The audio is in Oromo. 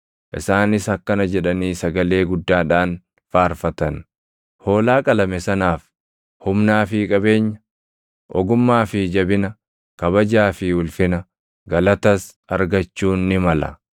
Isaanis akkana jedhanii sagalee guddaadhaan faarfatan; “Hoolaa qalame sanaaf, humnaa fi qabeenya, ogummaa fi jabina, kabajaa fi ulfina, galatas argachuun ni mala!”